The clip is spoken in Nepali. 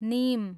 निम